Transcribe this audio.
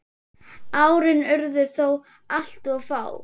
Árin urðu þó alltof fá.